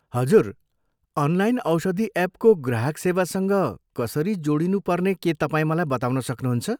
हजुर, अनलाइन औषधि एपको ग्राहक सेवासँग कसरी जोडिनु पर्ने के तपाईँ मलाई बताउन सक्नुहुन्छ?